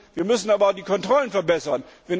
Wir müssen aber auch die Kontrollen verbessern.